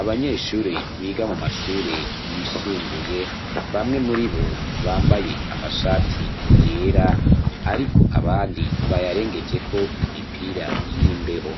Abanyeshure, biga mu mashure yisumbuye, bamwe muri bo, bambaye amashati yera, ariko abandi, bayarengejeko imipira y'imbeho;